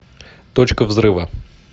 точка взрыва